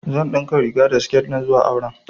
Zan ɗinka riga da siketi na zuwa auren